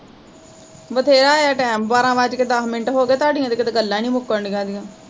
ਵਧੇਰਾ ਐ ਟੈਮ, ਬਾਰਾਂ ਵਜ ਕੇ ਦੱਸ ਮਿੰਟ ਹੋਗੇ, ਤੁਹਾਡੀਆਂ ਤੇ ਕਿਤੇ ਗੱਲਾਂ ਈ ਨੀ ਮੁੱਕਣ ਡਈਆ ਦੀਆ